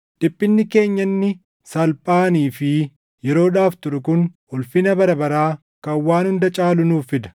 Dhiphinni keenya inni salphaanii fi yeroodhaaf turu kun ulfina bara baraa kan waan hunda caalu nuuf fida.